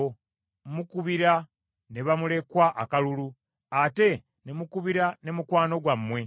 Mukubira ne bamulekwa akalulu ate ne mukubira ne mukwano gwammwe.